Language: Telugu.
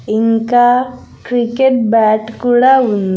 ఇంకా క్రికెట్ బ్యాట్ కూడా ఉం--